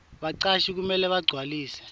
bacashi kumele bagcwalise